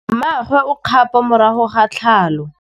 Mmagwe o kgapô morago ga tlhalô.